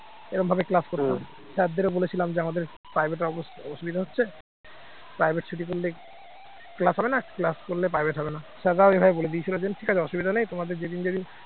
এরকমভাবে class করব sir দেরও বলেছিলাম যে আমাদের private এ অসুবিধা হচ্ছে private ছুটি করলে class হবে না class করলে private হবে না sir রাও এভাবে বলে দিয়েছিল যে ঠিক আছে অসুবিধা নেই তোমাদের যেদিন যেদিন